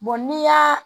n'i y'a